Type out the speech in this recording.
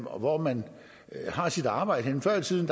og hvor man har sit arbejde henne før i tiden